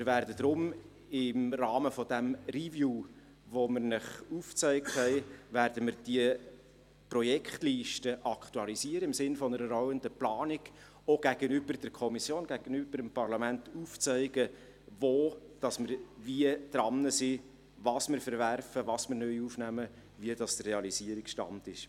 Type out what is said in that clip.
Darum werden wir im Rahmen des Reviews, das wir Ihnen aufgezeigt haben, die Projektliste im Sinn einer rollenden Planung aktualisieren und auch gegenüber der Kommission und gegenüber dem Parlament aufzeigen, wo wir wie daran sind, was wir verwerfen, was wir neu aufnehmen und welches der Realisierungsstand ist.